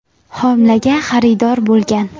homilaga xaridor bo‘lgan.